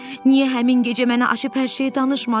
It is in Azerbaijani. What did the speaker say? Niyə həmin gecə mənə açıb hər şeyi danışmadın?